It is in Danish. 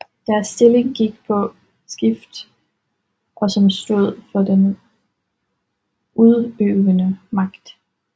Deres stilling gik på skift og som stod for den udøvende magt